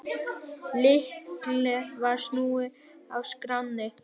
Lykli var snúið í skránni.